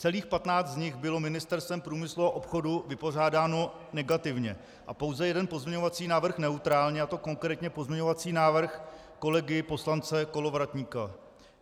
Celých 15 z nich bylo Ministerstvem průmyslu a obchodu vypořádáno negativně a pouze jeden pozměňovací návrh neutrálně, a to konkrétně pozměňovací návrh kolegy poslance Kolovratníka.